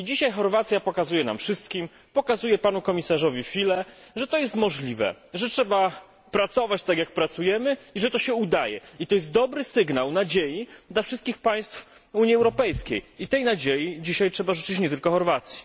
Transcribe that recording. Dzisiaj Chorwacja pokazuje nam wszystkim, pokazuje panu komisarzowi Füle, że to jest możliwe, że trzeba pracować, tak jak pracujemy, i że to się udaje. To jest dobry sygnał nadziei dla wszystkich państw Unii Europejskiej i tej nadziei dzisiaj trzeba życzyć nie tylko Chorwacji.